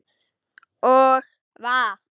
Og vatn.